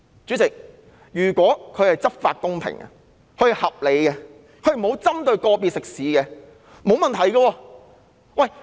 主席，如果警察執法公平、合理及沒有針對個別食肆，這是沒有問題的。